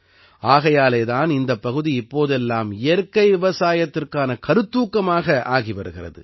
ஆகையாலே தான் இந்தப் பகுதி இப்போதெல்லாம் இயற்கை விவசாயத்திற்கான கருத்தூக்கமாக ஆகி வருகிறது